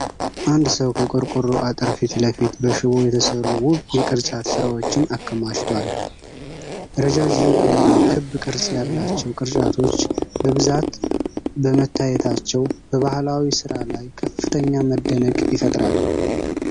አንድ ሰው ከቆርቆሮ አጥር ፊት ለፊት በሽቦ የተሰሩ ውብ የቅርጫት ሥራዎችን አከማችቷል። ረዣዥም እና ክብ ቅርፅ ያላቸው ቅርጫቶች በብዛት በመታየታቸው በባህላዊ ሥራ ላይ ከፍተኛ መደነቅ ይፈጠራል።